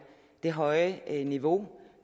det høje niveau